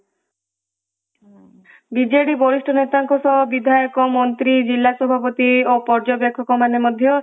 BJD ବରିଷ୍ଠ ନେତାଙ୍କ ସହ ବିଧାୟଜ, ମନ୍ତ୍ରୀ, ଜିଲ୍ଲାସଭାପତି ପ୍ରଜ୍ୟ ବ୍ୟାପକ ମାନେ ମଧ୍ୟ ପର୍ଯ୍ୟନ୍ତ ଏକକ ମାନେ